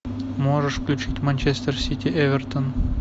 можешь включить манчестер сити эвертон